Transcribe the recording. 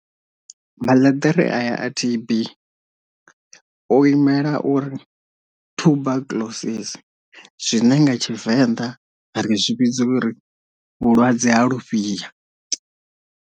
Maḽeḓere a ya a T_B o imela uri tuberculosis zwine nga tshivenḓa ri zwi vhidza uri vhulwadze ha lufhia.